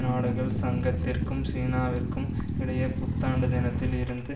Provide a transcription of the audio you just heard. நாடுகள் சங்கத்திற்கும் சீனாவிற்கும் இடையே புத்தாண்டு தினத்தில் இருந்து